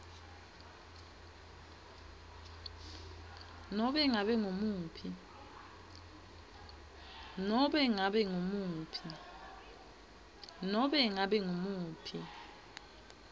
nobe ngabe ngumuphi